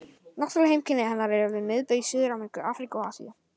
Náttúruleg heimkynni hennar eru við miðbaug í Suður-Ameríku, Afríku og Asíu.